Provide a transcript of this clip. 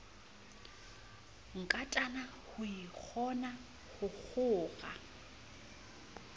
nkatana ho ikgona ho kgora